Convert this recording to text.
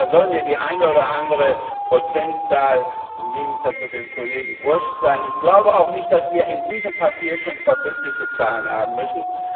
Und da soll mir die eine oder andere Prozentzahl im Gegensatz zu dem Kollegen wurscht sein. Ich glaube auch nicht, dass wir in diesem Papier schon verbindliche Zahlen haben müssen.